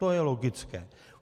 To je logické.